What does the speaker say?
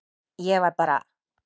Ég var bara.